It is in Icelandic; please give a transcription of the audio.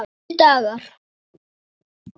Góðir dagar.